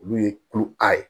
Olu ye kulokari ye